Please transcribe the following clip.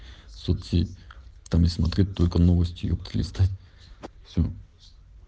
соц сеть там и смотреть только новости епта листать все